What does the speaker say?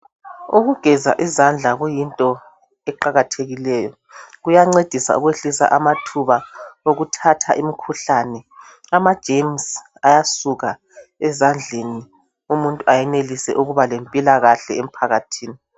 Ukugeza izandla kuyinto eqakathekileyo. Kuyancedisa ukwehlisa amathuba okuthatha imkhuhlane . Amagcikwane ayasuka ezandleni umuntu ayenelise ukuba lempilakahle emphakathini .